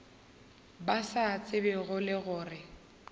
ba sa tsebego le gore